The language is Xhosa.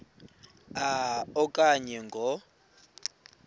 a okanye ngo